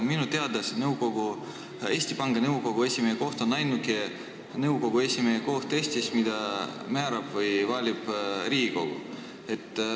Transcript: Minu teada on Eesti Panga Nõukogu esimehe koht ainuke nõukogu esimehe koht Eestis, kuhu määrab või valib inimese Riigikogu.